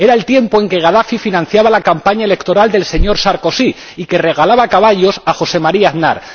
era el tiempo en que Gadafi financiaba la campaña electoral del señor Sarkozy y regalaba caballos a José María Aznar.